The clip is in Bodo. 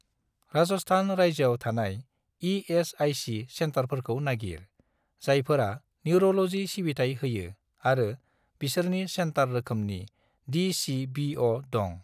राजस्थान रायजोआव थानाय इ.एस.आइ.सि. सेन्टारफोरखौ नागिर, जायफोरा निउर'ल'जि सिबिथाय होयो आरो बिसोरनि सेन्टार रोखोमनि डि.चि.बि.अ. दं।